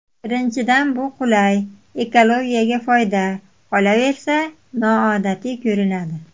Birinchidan bu qulay, ekologiyaga foyda, qolaversa, noodatiy ko‘rinadi.